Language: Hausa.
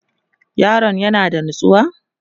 yaron ya na da natsuwa?